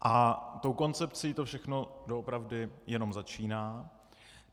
A tou koncepcí to všechno doopravdy jenom začíná.